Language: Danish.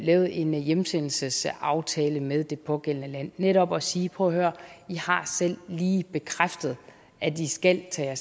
lavet en hjemsendelsesaftale med det pågældende land netop at sige prøv at høre i har selv lige bekræftet at i skal tage